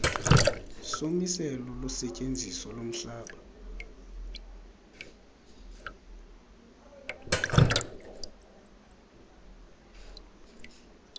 somiselo losetyenziso lomhlaba